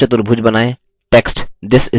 एक समचतुर्भुज बनाएँ